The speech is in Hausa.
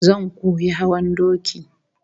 Zan koyi hawan doki